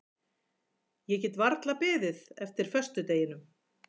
Ég get varla beðið eftir föstudeginum.